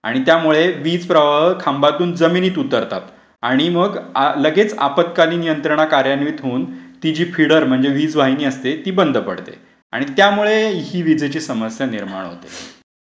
आणि त्यामुळे वीज प्रवाह खांबातून जमिनीत उतरतात आणि मग लगेच आपातकालीन यंत्रणा कार्यान्वित होऊन ति जी फिडर म्हणजे वीज वाहिनी असते ती बंद पडते. आणि त्यामुळे ही विजेची समस्या निर्माण होते.